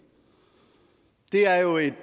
det er jo et